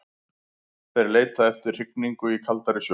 Þeir leita eftir hrygningu í kaldari sjó.